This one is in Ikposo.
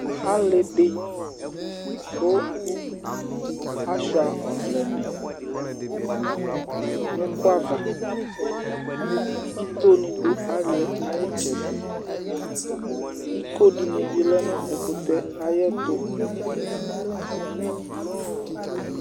Ali di ku ashua ɔvlɛni n'ukũ ava, ító ni du aliɛ ayi itsɛdi, iko dini bi lɛ nu ɛkutɛ̃ ayi ɛtu